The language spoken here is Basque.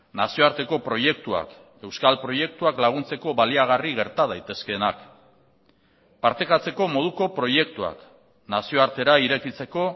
nazioarteko proiektuak euskal proiektuak laguntzeko baliagarri gerta daitezkeenak partekatzeko moduko proiektuak nazioartera irekitzeko